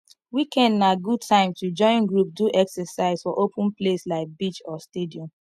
weekend na good time to join group do exercise for open place like beach or stadium